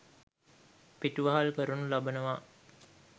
පිටුවහල් කරනු ලබනවා.